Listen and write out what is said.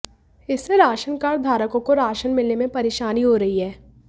इससे राशनकार्ड धारकों को राशन मिलने में परेशानी हो रही है